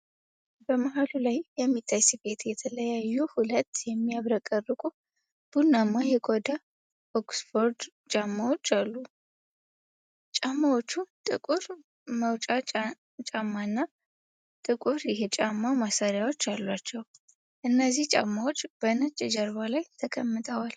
በመሃሉ ላይ በሚታይ ስፌት የተለዩ ሁለት የሚያብረቀርቁ ቡናማ የቆዳ ኦክስፎርድ ጫማዎች አሉ። ጫማዎቹ ጥቁር መውጫ ጫማና ጥቁር የጫማ ማሰሪያዎች አሏቸው። እነዚህ ጫማዎች በነጭ ጀርባ ላይ ተቀምጠዋል።